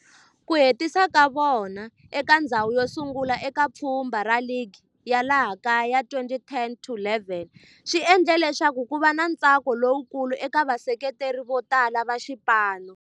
Ku hetisa ka vona eka ndzhawu yosungula eka pfhumba ra ligi ya laha kaya ya 2010-11 swi endle leswaku kuva na ntsako lowukulu eka vaseketeri votala va xipano.